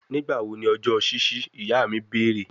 Nigbawo ni ọjọ ṣiṣi, iya mi beere